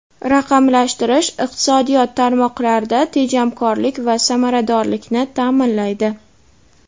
Raqamlashtirish iqtisodiyot tarmoqlarida tejamkorlik va samaradorlikni ta’minlaydi.